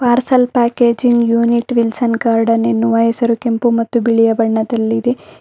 Parcel packaging unit Wilson Garden ಎನ್ನುವ ಹೆಸರು ಕೆಂಪು ಮತ್ತು ಬಿಳಿಯ ಬಣ್ಣದಲ್ಲಿದೆ.